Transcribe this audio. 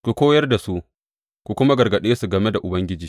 Ku koyar da su, ku kuma gargaɗe su game da Ubangiji.